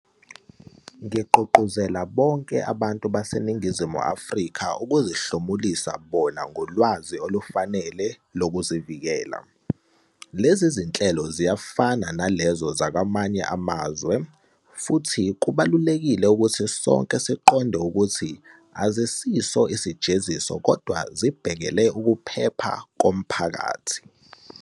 Ngigqugquzela bonke abantu baseNingizimu Afrika ukuzihlomulisa bona ngolwazi olufanele lokuzivikela. Lezi zinhlelo ziyafana nalezo zakwamanye amazwe, futhi kubalulekile ukuthi sonke siqonde ukuthi azisiso isijeziso kodwa zibhekele ukuphepha komphakathi.